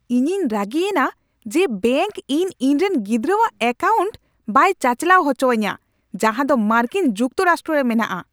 ᱤᱧᱤᱧ ᱨᱟᱹᱜᱤᱭᱮᱱᱟ ᱡᱮ ᱵᱮᱝᱠ ᱤᱧ ᱤᱧᱨᱮᱱ ᱜᱤᱫᱽᱨᱟᱹᱣᱟᱜ ᱮᱹᱠᱟᱣᱩᱱᱴ ᱵᱟᱭ ᱪᱟᱪᱟᱞᱟᱣ ᱦᱚᱪᱚ ᱟᱹᱧᱟᱹ ᱡᱟᱦᱟᱸ ᱫᱚ ᱢᱟᱨᱠᱤᱱ ᱡᱩᱠᱛᱚ ᱨᱟᱥᱴᱨᱚ ᱨᱮ ᱢᱮᱱᱟᱜᱼᱟ ᱾